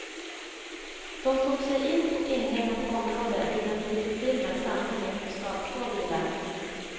De tog sig in på inhägnat område vid en bilfirma i samhället och stal två bilar.